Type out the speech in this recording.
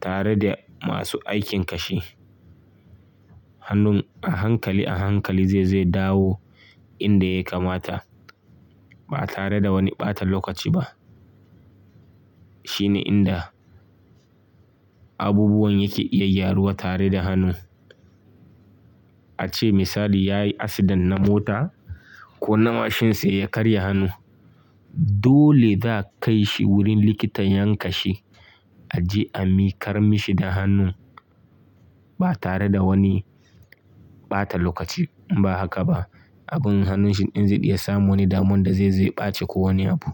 tare da masu aikin kashi. Hannun a hankali a hankali zai zo ya dawo inda ya kamata ba tare da wani ɓatan lokaci ba. Shine inda abubuwan yake iya gyaruwa tare da hannu. A ce misali ya yi asidan na mota ko na mashin sa ya karya hannu. Dole za a kai shi wurin likitan yan kanshi a je a miƙar mishi da hannun ba tare da wani ɓata lokaci ba haka ba. Agun hannun shi in zai iya samun wani damun da zai zo ɓace ko wani abu.